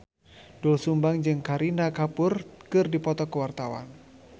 Doel Sumbang jeung Kareena Kapoor keur dipoto ku wartawan